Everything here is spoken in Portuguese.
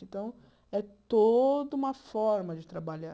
Então, é toda uma forma de trabalhar.